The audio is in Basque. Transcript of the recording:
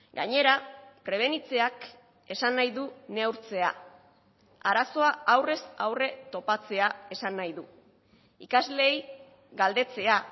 gainera prebenitzeak esan nahi du neurtzea arazoa aurrez aurre topatzea esan nahi du ikasleei galdetzea